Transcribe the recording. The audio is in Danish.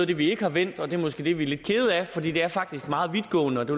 det vi ikke har vendt og det er måske det vi er lidt kede af for det er faktisk meget vidtgående og det